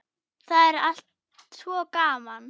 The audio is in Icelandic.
Það er allt svo gaman.